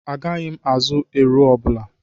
Agaghị m azụ ero ọbụla.